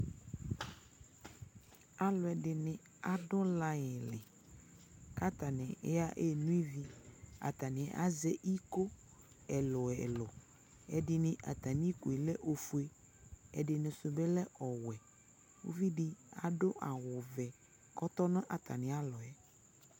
alʋɛdini adʋ line li kʋ atani ɛnɔ ivi, atani azɛ ikɔ ɛlʋɛlʋ, ɛdini atani ikɔɛ lɛ ɔƒʋɛ, ɛdini sʋ bi lɛ ɔwɛ, ʋvidi adʋ awʋ vɛ kʋ ɔtɔnʋ atami alɔɛ